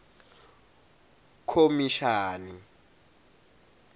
khomishani